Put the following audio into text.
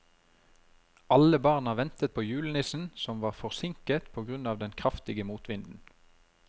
Alle barna ventet på julenissen, som var forsinket på grunn av den kraftige motvinden.